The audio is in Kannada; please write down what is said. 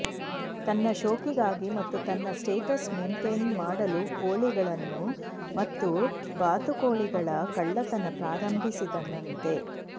ತನ್ನ ಶೋಕಿಗಾಗಿ ಮತ್ತು ತನ್ನ ಸ್ಟೇಟಸ್ ಮೆಂಟೇನ್ ಮಾಡಲು ಕೋಳಿಗಳನ್ನು ಮತ್ತು ಬಾತುಕೋಳಿಗಳ ಕಳ್ಳತನ ಪ್ರಾರಂಭಿಸಿದನಂತೆ